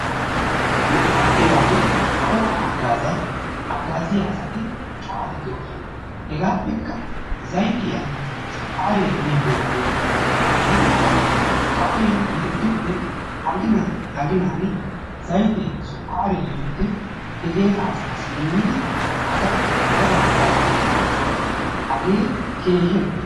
Nugaa heeran kawuwaa haggaaziyaa asati cora doosona. hegaappeka zayttiyaa sukkariyaa immiyaageti de"oosona. etikka kawoy yeddiyoode aginaappe aginaan zaytee sukkaree yiyoode he heeraa asaasi immidi asaa daro hagaazan maaddoosona. hagee keehi lo"iyaaba.